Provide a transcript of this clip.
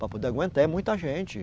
Para poder aguentar, é muita gente.